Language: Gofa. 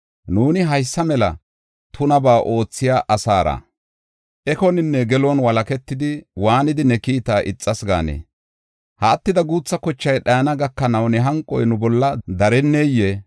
Nuuni haysa mela tunabaa oothiya asaara ekoninne gelon walaketidi, waanidi ne kiita ixas gaanee? Ha attida guutha kochay dhayana gakanaw ne hanqoy nu bolla dareneyee?